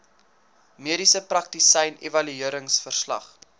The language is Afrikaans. mediese praktisyn evalueringsverslag